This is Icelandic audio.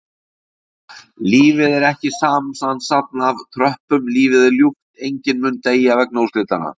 Lífið er ekki samansafn af töpum, lífið er ljúft, enginn mun deyja vegna úrslitanna.